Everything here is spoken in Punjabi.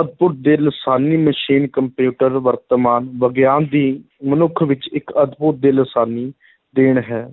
ਅਦਭੁਤ ਤੇ ਲਾਸਾਨੀ ਮਸ਼ੀਨ ਕੰਪਿਊਟਰ ਵਰਤਮਾਨ ਵਿਗਿਆਨ ਦੀ ਮਨੁੱਖ ਵਿੱਚ ਇੱਕ ਅਦਭੁਤ ਤੇ ਲਾਸਾਨੀ ਦੇਣ ਹੈ,